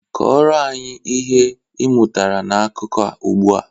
Kọrọ anyị ihe ị mụtara na akụkọ a ugbu a!